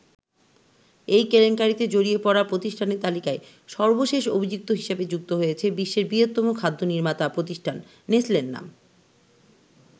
এই কেলেঙ্কারিতে জড়িয়ে পড়া প্রতিষ্ঠানের তালিকায় সর্বশেষ অভিযুক্ত হিসেবে যুক্ত হয়েছে বিশ্বের বৃহত্তম খাদ্য নির্মাতা প্রতিষ্ঠান নেসলের নাম।